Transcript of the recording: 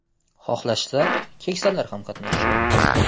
Xohlashsa, keksalar ham qatnashishi mumkin.